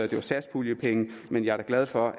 det var satspuljepenge men jeg er da glad for